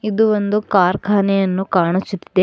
ಇದು ಒಂದು ಕಾರ್ಖಾನೆ ಅನ್ನು ಕಾಣಿಸುತ್ತಿದೆ.